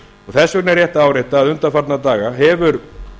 þess vegna er rétt að árétta að undanfarna daga hefur